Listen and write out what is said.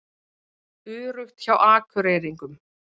Öruggt hjá Akureyringum